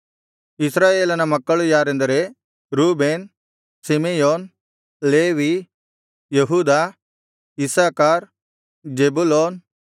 ಇಸ್ರಾಯೇಲನ ಮಕ್ಕಳು ಯಾರೆಂದರೆ Reuben Simeon Levi ಯೆಹೂದ ಇಸ್ಸಾಕಾರ್ ಜೆಬುಲೂನ್